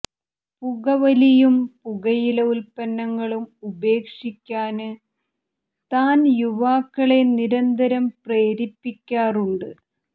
പുകവലിയും പുകയില ഉല്പന്നങ്ങളും ഉപേക്ഷിക്കാന് താന് യുവാക്കളെ നിരന്തരം പ്രേരിപ്പിക്കാറുണ്ട്